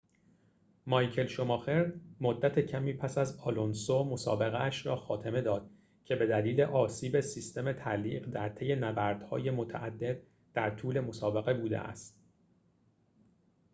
مایکل شوماخر مدت کمی پس از آلونسو مسابقه‌اش را خاتمه داد که بدلیل آسیب سیستم تعلیق در طی نبردهای متعدد در طول مسابقه بوده است